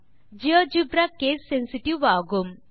GeoGebra case sensitive ஆகும்